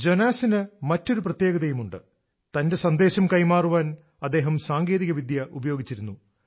ജോനാസിന് മറ്റൊരു പ്രത്യേകതയുണ്ട് തന്റെ സന്ദേശം കൈമാറാൻ അദ്ദേഹം സാങ്കേതികവിദ്യ ഉപയോഗിച്ചിരുന്നു